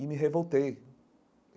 E me revoltei.